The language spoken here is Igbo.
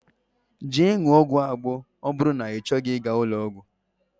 Jee ṅụọ ọgwụ Agbo ma oburu na ichoghi iga ulo ogwu.